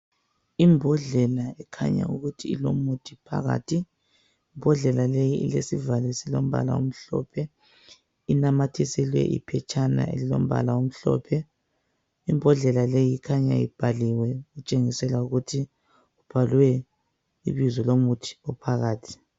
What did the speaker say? Imbodlela ekhanya ukuthi ilomuthi phakathi. Imbodlela leyi ilesivalo esilombala omhlophe, inamathiselwe iphetshana elilombala omhlophe. Imbodlela leyi ikhanya ibhaliwe okutshengisela ukuthi ibhalwe ibizo lomuthi ophakathi.